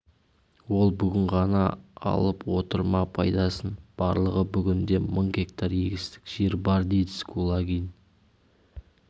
ол бүгін ғана алып отыр ма пайдасын барлығы бүгінде мың гектар егістік жер бар дедіс кулагин